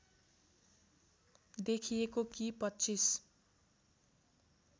देखिएको कि २५